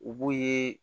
U b'u ye